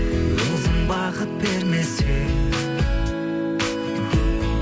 өзің бақыт бермесең